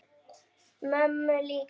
Mömmu líka?